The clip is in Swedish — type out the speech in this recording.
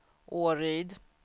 Åryd